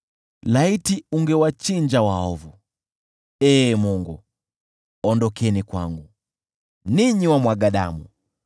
Laiti ungewachinja waovu, Ee Mungu! Ondokeni kwangu, ninyi wamwaga damu!